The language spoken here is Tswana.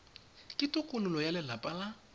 ke tokololo ya lelapa la